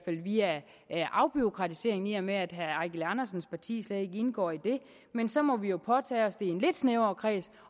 ikke via afbureaukratiseringsaftalen med at herre eigil andersens parti slet ikke indgår i det men så må vi jo påtage os det i en lidt snævrere kreds